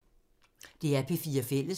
DR P4 Fælles